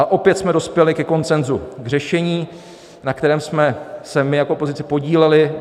A opět jsme dospěli ke konsenzu, k řešení, na kterém jsme se my jako opozice podíleli.